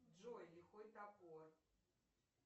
джой лихой топор